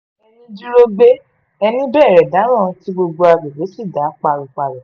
ẹní dúró gbé ẹni bẹ̀rẹ̀ dáràn tí gbogbo àgbègbè sì dá páropáro